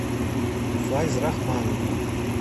файзрахманову